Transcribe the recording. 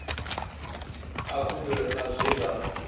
a khumbelo sa zwe zwa